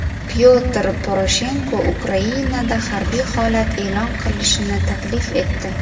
Pyotr Poroshenko Ukrainada harbiy holat e’lon qilishni taklif etdi.